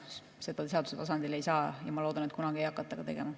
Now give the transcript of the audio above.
Seda seaduse tasandil ei saa teha ja ma loodan, et kunagi ka ei hakata tegema.